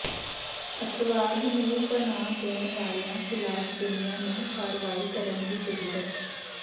ਅੱਤਵਾਦ ਨੂੰ ਪਨਾਹ ਦੇਣ ਵਾਲਿਆਂ ਖਿਲਾਫ ਦੁਨੀਆ ਨੂੰ ਕਾਰਵਾਈ ਕਰਨ ਦੀ ਜ਼ਰੂਰਤ